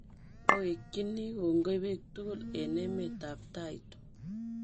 Awekchini kongoi pik tugul eng emet ap Taito.